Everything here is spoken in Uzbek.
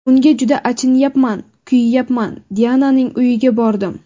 Unga juda achinayapman, kuyayapman... Diananing uyiga bordim.